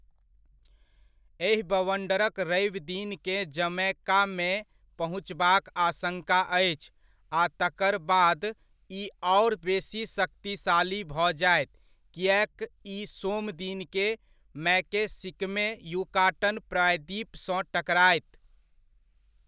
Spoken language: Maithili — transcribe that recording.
एहि बवण्डरक रविदिनकेँ जमैकामे पहुँचबाक आशङ्का अछि आ तकरबाद ई आओर बेसी शक्तिशाली भऽ जायत किएक ई सोमदिनकेँ मैकएसिकमे युकाटन प्रायद्वीप सँ टकरायत।